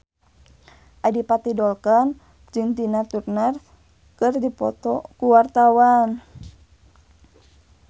Adipati Dolken jeung Tina Turner keur dipoto ku wartawan